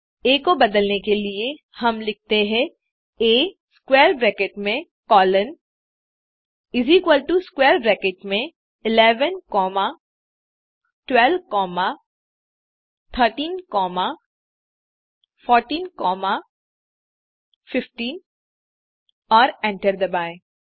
आ को बदलने के लिए हम लिखते हैं आ स्क्वैर ब्रैकेट में कोलोन स्क्वैर ब्रैकेट में 11 कॉमा 12 कॉमा 13 कॉमा 14 कॉमा 15 और एंटर दबाएँ